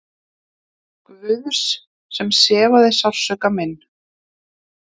Guðs sem sefaði sársauka minn.